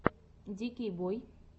дикий бой